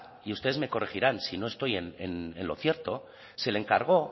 y ustedes me corregirán si no estoy en lo cierto se le encargó